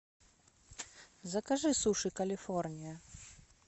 закажи суши калифорния